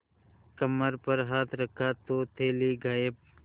कमर पर हाथ रखा तो थैली गायब